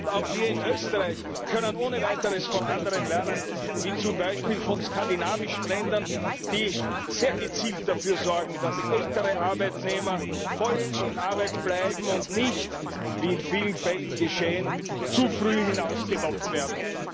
Ja, und auch wir in Österreich können ohne weiteres von anderen lernen, zum Beispiel von skandinavischen Ländern, die sehr gezielt dafür sorgen, dass ältere Arbeitnehmer voll in Arbeit bleiben und nicht wie in vielen Fällen geschehen zu früh hinausgemobbt werden.